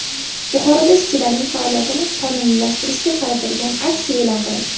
Buxoroda ishchilarning faoliyatini qonuniylashtirishga qaratilgan aksiya e’lon qilindi.